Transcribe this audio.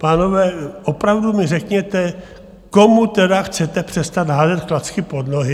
Pánové, opravdu mi řekněte, komu teda chcete přestat házet klacky pod nohy?